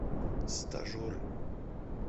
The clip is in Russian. стажеры